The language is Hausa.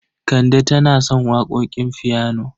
Kande tana son waƙoƙin fiyano.